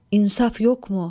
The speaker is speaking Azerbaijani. İnsaf yoxmu?